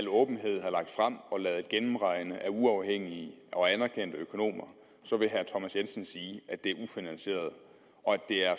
åbenhed har lagt frem og ladet gennemregne af uafhængige og anerkendte økonomer så vil herre thomas jensen sige at det er ufinansieret og at det er